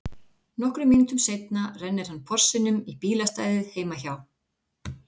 Nokkrum mínútum seinna rennir hann Porsinum í bílastæðið heima hjá